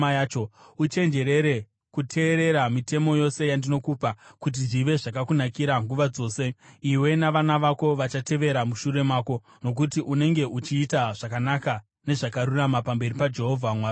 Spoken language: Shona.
Uchenjerere kuteerera mitemo yose yandinokupa, kuti zvive zvakakunakira nguva dzose iwe navana vako vachatevera mushure mako, nokuti unenge uchiita zvakanaka nezvakarurama pamberi paJehovha Mwari wako.